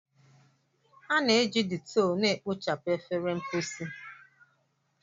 A na-eji Dettol na-ekpochapụ efere mposi.